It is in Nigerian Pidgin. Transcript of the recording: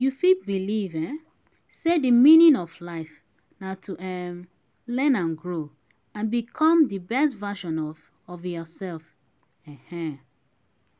you fit believe um say di meaning of life na to um learn and grow and become di best version of of yourself. um